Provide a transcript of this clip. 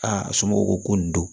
Aa somɔgɔw ko ko nin don